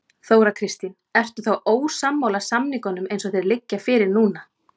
Þóra Kristín: Ertu þá ósammála samningunum eins og þeir liggja fyrir núna?